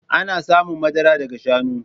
Ana samun madara daga shanu